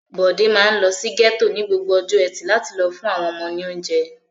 Bọ̀dé máa ń lọ sí gẹ́tò ní gbogbo ọjọ́ ẹtì láti lọ fún àwọn ọmọ ní oúnjẹ.